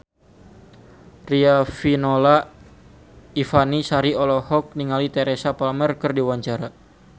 Riafinola Ifani Sari olohok ningali Teresa Palmer keur diwawancara